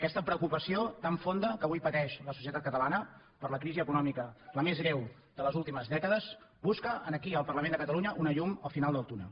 aquesta preocupació tan fonda que avui pateix la societat catalana per la crisi econòmica la més greu de les últimes dècades busca aquí al parlament de catalunya una llum al final del túnel